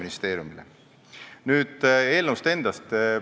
Nüüd eelnõust endast.